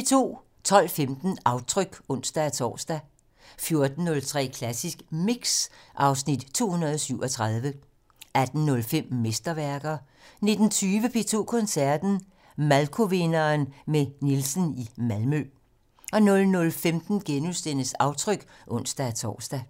12:15: Aftryk (ons-tor) 14:03: Klassisk Mix (Afs. 237) 18:05: Mesterværker 19:20: P2 Koncerten - Malkovinderen med Nielsen i Malmø 00:15: Aftryk *(ons-tor)